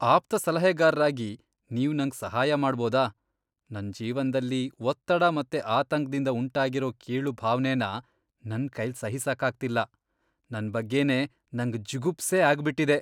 ಆಪ್ತಸಲಹೆಗಾರ್ರಾಗಿ ನೀವ್ ನಂಗ್ ಸಹಾಯ ಮಾಡ್ಬೋದ? ನನ್ ಜೀವನ್ದಲ್ಲಿ ಒತ್ತಡ ಮತ್ತೆ ಆತಂಕ್ದಿಂದ ಉಂಟಾಗಿರೋ ಕೀಳು ಭಾವ್ನೆನ ನನ್ಕೈಲ್ ಸಹಿಸಕ್ಕಾಗ್ತಿಲ್ಲ.. ನನ್ ಬಗ್ಗೆನೇ ನಂಗ್ ಜುಗುಪ್ಸೆ ಆಗ್ಬಿಟಿದೆ.